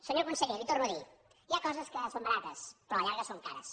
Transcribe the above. senyor conseller li ho torno a dir hi ha coses que són barates però a la llarga són cares